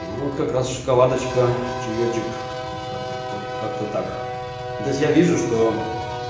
вот как раз шоколадочка чаёчек вот как-то как-то ну то есть я вижу что